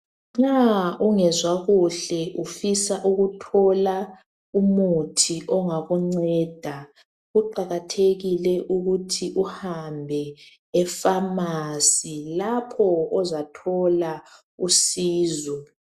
Nxa ungezwa kuhle ufisa ukuthola umuthi ongakunceda kuqakathekile ukuthi uhambe e pharmacy lapho ozathola usizo